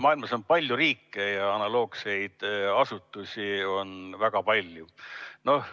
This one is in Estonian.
Maailmas on palju riike ja analoogseid asutusi on väga palju.